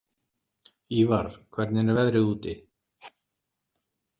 Ívar, hvernig er veðrið úti?